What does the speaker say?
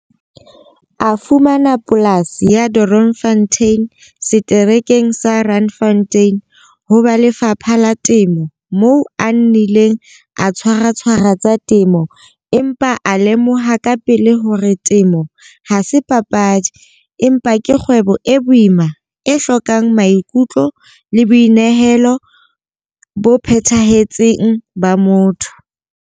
A fumana polasi ya Doornfontein seterekeng sa Randfontein ho ba Lefapha la Temo moo a nnileng a tshwaratshwara tsa temo empa a lemoha kapele hore temo ha se papadi empa ke kgwebo e boima e hlokang maikutlo le boinehelo bo phethahetseng ba motho.